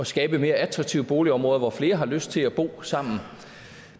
skabe mere attraktive boligområder hvor flere har lyst til at bo sammen